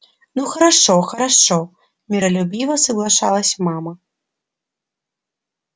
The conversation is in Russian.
ну хорошо-хорошо миролюбиво соглашалась мама